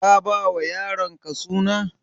Ka ba wa yaronka suna?